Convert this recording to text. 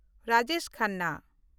Rajesh Khanna